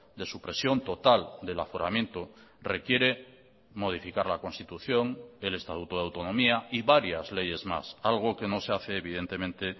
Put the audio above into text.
de supresión total del aforamiento requiere modificar la constitución el estatuto de autonomía y varias leyes más algo que no se hace evidentemente